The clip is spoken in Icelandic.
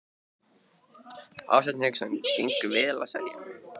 Hafsteinn Hauksson: Gengur vel að selja?